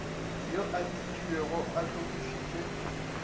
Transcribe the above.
yo a dikilwego a hlokišitšwe